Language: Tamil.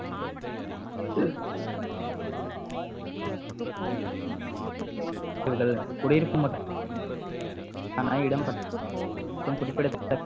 குடியிருக்கும் ஆன இடம் மற்றும் குறிப்பிடத்தக்க